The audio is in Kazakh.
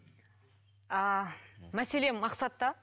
ааа мәселе мақсатта